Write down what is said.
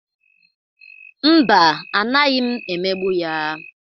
Mba, anaghị m emegbu ya.